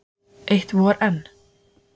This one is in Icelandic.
Eitt vor enn?